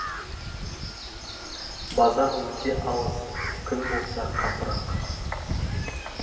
базар өте алыс күн болса қапырық